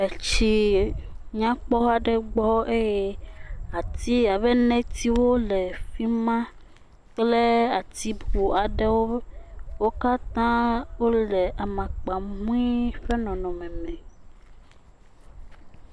Etsie nyakpɔ aɖe gbɔ eye ati abe netiwo le fima kple ati bu aɖewo wo katã wole amakpa mui ƒe nɔnɔme me.